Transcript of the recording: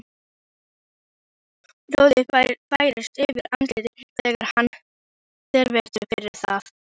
Roði færist yfir andlitið þegar hann þvertekur fyrir það.